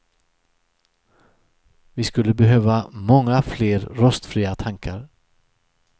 Vi skulle behöva många fler rostfria tankar.